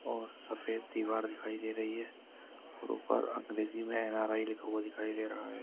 और सफेद दीवार दिखाई दे रही है और ऊपर अंग्रेजी मे एन_आर_आई लिखा हुआ दिखाई दे रहा है।